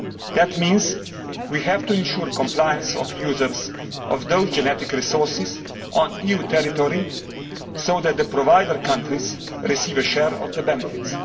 That means we have to ensure the compliance of users of those genetic resources in EU territory, so that the provider countries receive a share of the benefits.